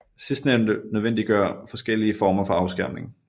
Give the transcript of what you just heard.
Sidstnævnte nødvendiggør forskellige former for afskærmning